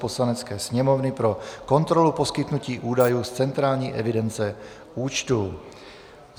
Poslanecké sněmovny pro kontrolu poskytnutí údajů z centrální evidence účtů